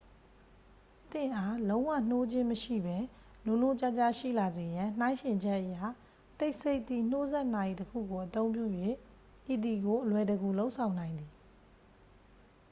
သင့်အား လုံးဝနှိုးခြင်းမရှိဘဲ နိုးနိုးကြားကြားရှိလာစေရန် နှိုင်းယှဉ်ချက်အရ တိတ်ဆိတ်သည့် နှိုးစက်နာရီတစ်ခုကို အသုံးပြု၍ ဤသည်ကို အလွယ်တကူ လုပ်ဆောင်နိုင်သည်